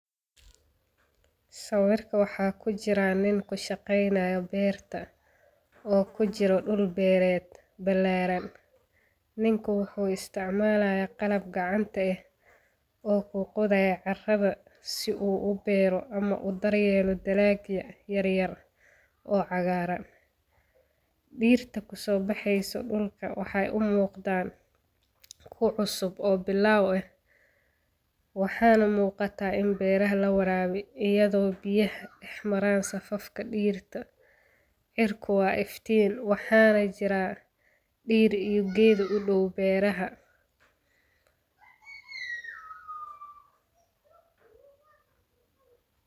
Sawirka waxaa ku jira nin ku shaqaynayo beerta oo ku jiro dhul beereed ba laaran. Ninku wuxuu isticmaalaya qalab gacanta ah oo kuu qoday carrada si uu u beero ama u daryeelo dileekya yaryar oo cagaaran. Dhiirta ku soo baxaysa dhulka waxay u muuqdaan ku cusub oo bil ah. Waxaana muuqata in beeraha la waraabi iyadoo biyaha ah maraan safafka dhiirta. Cirku wa iftiin waxaanay jira dhiir iyo geedo u dhow beeraha.